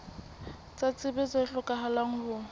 tsa tsebo tse hlokahalang ho